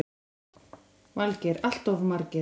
Valgeir: Alltof margir?